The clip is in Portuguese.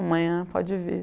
Amanhã pode vir.